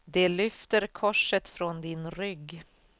De lyfter korset från din rygg.